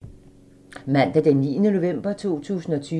Mandag d. 9. november 2020